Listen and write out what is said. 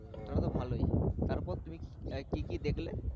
তাহলে তো ভালোই তারপর তুমি আহ কি কি দেখলে?